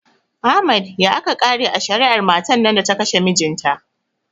Ahmad ya aka kare a shari'ar matan nan da ta kashe mijinta?